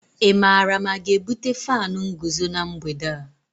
Ị maara ma a ga-ebute fánu nguzo na mgbede a?